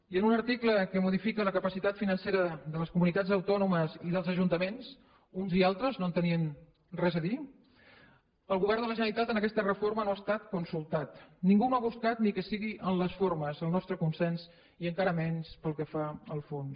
i en un article que modifica la capacitat financera de les comunitats autònomes i dels ajuntaments uns i altres no tenien res a dir hi el govern de la generalitat en aquesta reforma no ha estat consultat ningú no ha buscat ni que sigui en les formes el nostre consens i encara menys pel que fa al fons